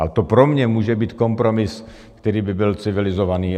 A to pro mě může být kompromis, který by byl civilizovaný.